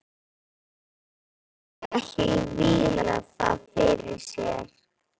Hann mundi ekki víla það fyrir sér.